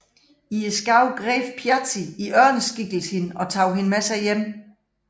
I skoven greb Þjazi i ørneskikkelse hende og tog hende med sig hjem